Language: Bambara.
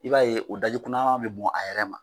I b'a ye , o daji kunaman be bɔ a yɛrɛ ma.